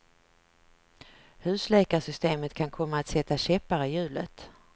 Husläkarsystemet kan komma att sätta käppar i hjulet.